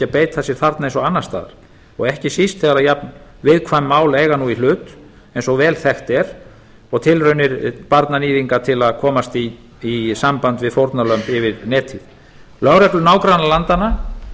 beita sér þarna eins og annars staðar og ekki síst þegar jafn viðkvæm mál eiga nú í hlut eins og vel þekkt er og tilraunir barnaníðinga til að komast í samband við fórnarlömb yfir netið lögreglur nágrannalandanna